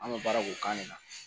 An bɛ baara k'o kan de